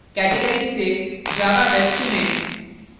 categories से java web चुनें